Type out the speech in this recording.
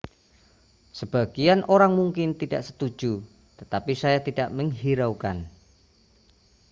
sebagian orang mungkin tidak setuju tetapi saya tidak menghiraukan